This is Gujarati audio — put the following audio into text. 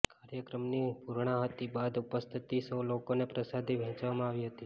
કાર્યક્રમની પૂર્ણાહુતિ બાદ ઉપસ્થિત સૌ લોકોને પ્રસાદી વેંહચવામાં આવી હતી